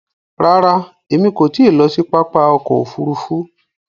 Ràrà, èmi kò ti lọ sí pápá ọkọ̀ òfurufú